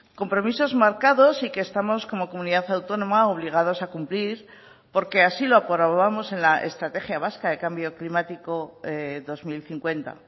compromisos marcados y que estamos como comunidad autónoma obligados a cumplir porque así lo aprobamos en la estrategia vasca de cambio climático dos mil cincuenta